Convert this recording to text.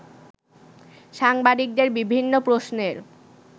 সাংবাদিকদের বিভিন্ন প্রশ্নের